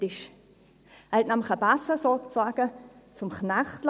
Er liess nämlich einen Besen sozusagen zum Knecht werden;